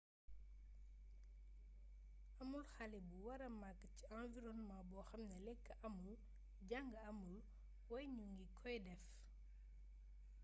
amul xale bu wara mag ci environnement bo xamne lek amul jang amul way ñu ngi koy def